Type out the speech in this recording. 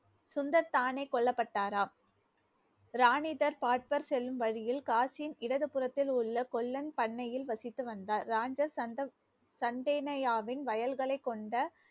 சுந்தர் தானே கொல்லப்பட்டாரா ராணிதர் பாட்பர் செல்லும் வழியில், காசின் இடது புறத்தில் உள்ள கொல்லன் பண்ணையில் வசித்து வந்தார். சந்தேனையாவின் வயல்களைக் கொண்ட